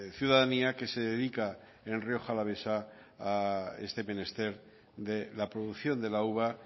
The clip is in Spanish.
ciudadanía que se dedica en rioja alavesa a este menester de la producción de la uva